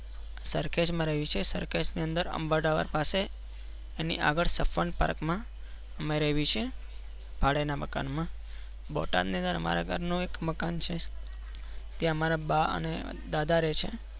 સરખેજ માં રહીએ છીએ. સરખેજ ની અંદરઅંબા દાવર પાસે એની આગળ સપવાન Park માં અ મેં રહીએ છીએ ભાડે ના મકાન માં બોટાદ ની અંદર અમારા ગર નું એક મકાન છે ત્યાં અમારા બા અને દાદા રહે છે.